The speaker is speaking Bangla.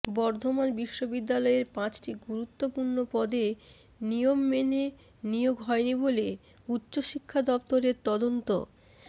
বর্ধমান বিশ্ববিদ্যালয়ের পাঁচটি গুরুত্বপূর্ণ পদে নিয়ম মেনে নিয়োগ হয়নি বলে উচ্চ শিক্ষা দফতরের তদন্ত